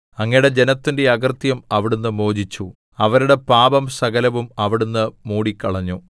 അങ്ങയുടെ ജനത്തിന്റെ അകൃത്യം അവിടുന്ന് മോചിച്ചു അവരുടെ പാപം സകലവും അവിടുന്ന് മൂടിക്കളഞ്ഞു സേലാ